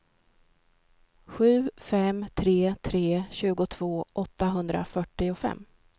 sju fem tre tre tjugotvå åttahundrafyrtiofem